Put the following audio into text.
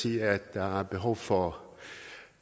siger at der er behov for